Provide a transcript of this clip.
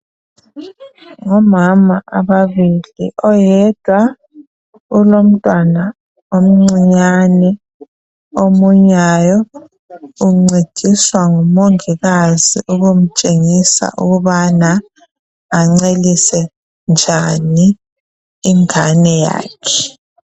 Ngomama ababili, oyedwa ulomntwana omncinyane omunyayo, uncediswa ngumongikazi ukumtshengisa ukubana ancelise njani ingane yakhe